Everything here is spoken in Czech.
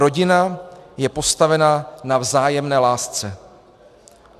Rodina je postavena na vzájemné lásce.